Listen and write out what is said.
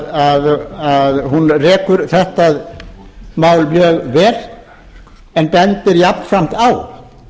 þar sem hún rekur þetta mál mjög vel en bendir jafnframt á